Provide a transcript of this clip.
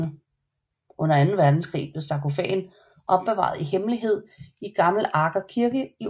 Under Anden Verdenskrig blev sarkofagen opbevaret i hemmelighed i Gamle Aker kirke i Oslo